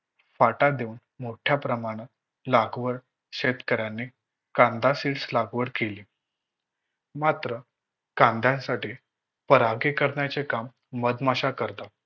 पाटा देऊन मोठ्या प्रमाणात कांदा Seeds लागवड केली. मात्र कांद्यासाठी परागीकरणाचे काम मधमाशा करतात